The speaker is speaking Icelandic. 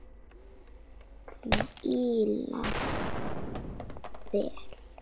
Hvílast vel.